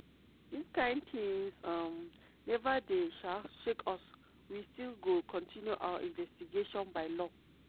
"dis kain tins um neva dey um shake us we still go kontinu our investigations by law."